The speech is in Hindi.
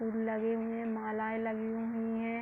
फूल लगे हुए हैं मालाएँ लगी हुई हैं।